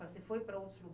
Você foi para outros lu